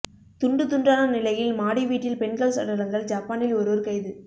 துண்டு துண்டான நிலையில் மாடி வீட்டில் பெண்கள் சடலங்கள் ஜப்பானில் ஒருவர் கைது